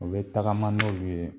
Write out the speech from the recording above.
O bɛ tagama n'olu ye